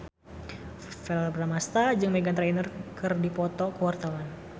Verrell Bramastra jeung Meghan Trainor keur dipoto ku wartawan